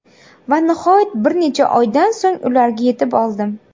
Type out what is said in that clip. Va nihoyat bir necha oydan so‘ng, ularga yetib oldim.